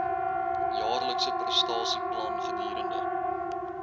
jaarlikse prestasieplan gedurende